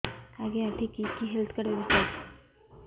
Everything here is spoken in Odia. ଆଜ୍ଞା ଏଠି କି କି ହେଲ୍ଥ କାର୍ଡ ବ୍ୟବସ୍ଥା ଅଛି